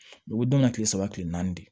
U bɛ dɔn ka kile saba kile naani de